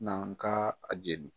Na kaa a jeli